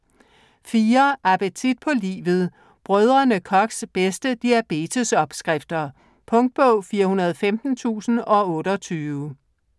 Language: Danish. Appetit på livet: Brdr. Kochs bedste diabetesopskrifter Punktbog 415028